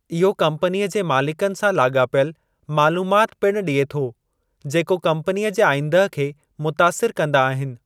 इहो कम्पनीअ जे मालिकनि सां लाॻापियलु मालूमात पिणु ॾिए थो जेको कम्पनीअ जे आईंदह खे मुतासिर कंदा आहिनि।